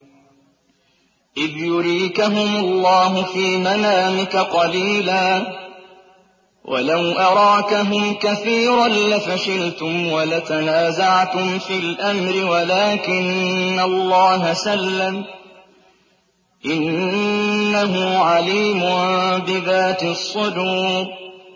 إِذْ يُرِيكَهُمُ اللَّهُ فِي مَنَامِكَ قَلِيلًا ۖ وَلَوْ أَرَاكَهُمْ كَثِيرًا لَّفَشِلْتُمْ وَلَتَنَازَعْتُمْ فِي الْأَمْرِ وَلَٰكِنَّ اللَّهَ سَلَّمَ ۗ إِنَّهُ عَلِيمٌ بِذَاتِ الصُّدُورِ